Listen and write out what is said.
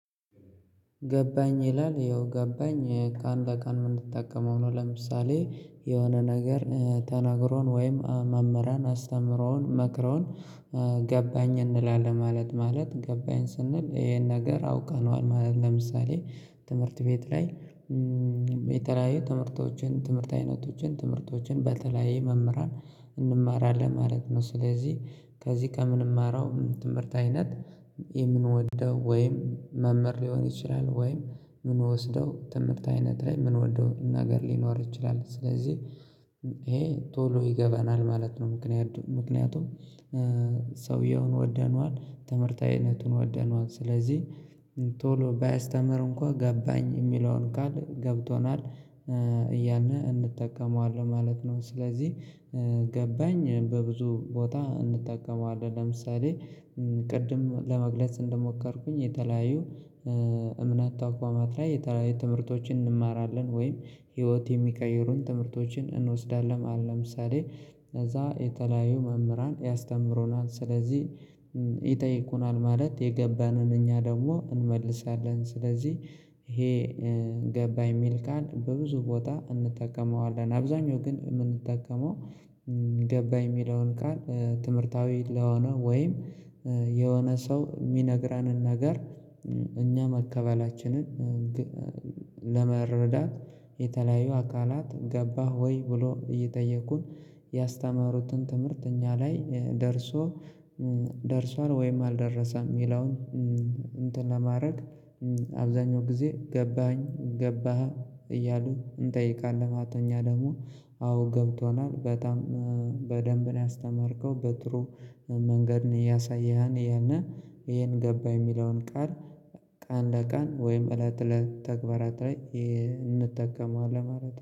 ገባኝ ይላል ያው ገባኝ ቀን በቀን እምንጠቀመው ሆኖ ለምሳሌ የሆነ ነገር ተነግሮን ወይም መምህራን አስተምረውን መክረውን ገባኝ እንላለን ማለት ማለት ገባኝ ስንል ይሄን ነገር አውቀነዋል ማለት ለምሳሌ ትምህርት ቤት ላይ የተለያዩ ትምህርቶችን ትምህርት አይነቶችን ትምህርቶችን በተለያየ መምህራን እንማራለን ማለት ነው። ስለዚህ ከዚህ ከምንማረው ትምህርት አይነት የምንወደው ወይም መምህር ሊሆን ይችላል ወይም እምንወስደው ትምህርት አይነት ላይ እምንወደው ነገር ሊኖር ይችላል ስለዚህ ይሄ ቶሎ ይገባናል ማለት ነው። ምክንያቱም ሰውየውን ወደነዋል ትምህርት አይነቱን ወደነዋል ስለዚህ ቶሎ ባያስተምር እንኳን ገባኝ እሚለውን ቃል ገብቶናል እያልነ እንጠቀመዋለን ማለት ነው። ስለዚህ ገባኝ በብዙ ቦታ እንጠቀመዋለን ለምሳሌ ቅድም ለመግለጽ እንደሞከርኩኝ የተለያዩ እምነት ተቋማት ላይ የተለያዩ ትምህርቶችን እንማራለን ወይም ህይወት የሚቀይሩን ትምህርቶችን እንወስዳለን ለምሳሌ ከዛ የተለያዩ መምህራን ያስተምሮናል ስለዚህ ይጠይቁናል ማለት የገባንን እኛ ደግሞ እንመልሳለን ስለዚህ ይሄ ገባኝ እሚል ቃል በብዙ ቦታ እንጠቀመዋለን። አብዛኛው ግን እምንጠቀመው ገባህ እሚለውን ቃል ትምህርታዊ ለሆነ ወይም የሆነ ሰው እሚነግራንን ነገር እኛ መቀበላችንን ለመረዳት የተለያዩ አካላት ገባህ ወይ ብሎ እየጠየቁን ያስተማሩትን ትምህርት እኛ ላይ ደርሷል ወይም አልደረሰም እሚለውን እንትን ለማድረግ አብዛኛው ጊዜ ገባኸኝ ገባህ እያሉ እንጠይቃለን ማለት ነው። እኛ ደግሞ አዎ ገብቶናል በጣም በደንብ ነው ያስተማርከው በጥሩ መንገድን እያሳየኸን እያልነ ይሄን ገባኝ እሚለውን ቃል ቀን በቀን ወይም እለት በእለት ተግባራት ላይ እንጠቀመዋለን ማለት ነው